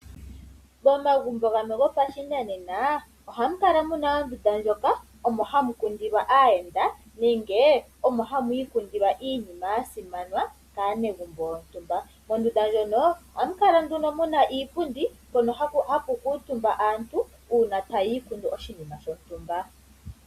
Momagumbo gamwe gopashinanena omahukala muna ondunda ndjoka omo hamukundilwa aayenda nenge omo hamu ikundilwa iinima yasimana kaanegumbo yontumba. Mondunda ndjono ohamukala nduno muna iipundi hono hakukuutumba aantu uuna taya ikundu oshinima shontumba.